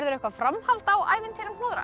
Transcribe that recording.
eitthvað framhald á ævintýrum